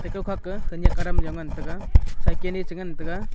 ekao khak ae khanyak aram yao ngan taega cycle ae che ngan taega.